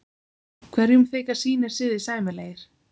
Hverjum þykja sínir siðir sæmilegir.